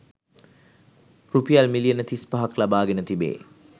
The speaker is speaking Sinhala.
රුපියල් මිලියන තිස්පහක් ලබාගෙන තිබේ